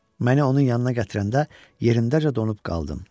Məni onun yanına gətirəndə yerindəcə donub qaldım.